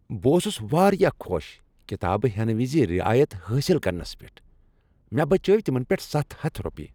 بہٕ اوسُس واریاہ خوش کتابہٕ ہینہٕ وز رعایت حٲصل کرنس پؠٹھ۔ مےٚ بچاوِ تمن پؠٹھ ستھ حتھ روپیہ۔